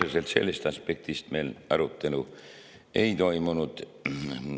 Otseselt sellest aspektist meil arutelu ei toimunud.